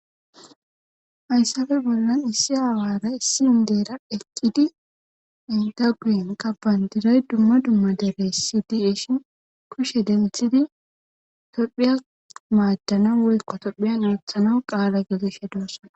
ayssafe bollan issi aawara issi indeera eqqidi indaguin qabbandiray dumma dumma dere sidieshin kushe denthidi tophiya maaddanan woykko tophiyan oothana qaala gideshe doosan